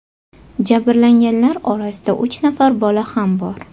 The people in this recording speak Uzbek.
Jabrlanganlar orasida uch nafar bola ham bor.